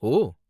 ஓ!